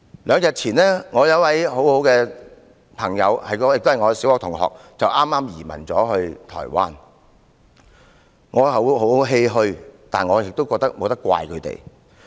兩天前，我一位很要好的朋友兼小學同學移民台灣，我感到十分欷歔，但我又怎能怪責他們？